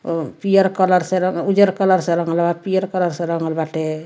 और पीयर कलर से उजर कलर से रंगल पीयर कलर से रंगल बाटे।